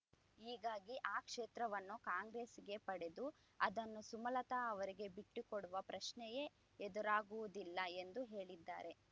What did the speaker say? ಹೀಗಾಗಿ ಆ ಕ್ಷೇತ್ರವನ್ನು ಕಾಂಗ್ರೆಸ್‌ಗೆ ಪಡೆದು ಅದನ್ನು ಸುಮಲತ ಅವರಿಗೆ ಬಿಟ್ಟುಕೊಡುವ ಪ್ರಶ್ನೆಯೇ ಎದುರಾಗುವುದಿಲ್ಲ ಎಂದು ಹೇಳಿದ್ದಾರೆ